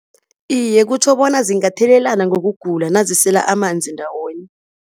Iye, kutjho bona zingathelelana ngokugula nazisela amanzi ndawonye.